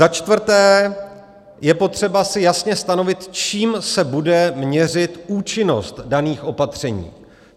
Za čtvrté, je potřeba si jasně stanovit, čím se bude měřit účinnost daných opatření.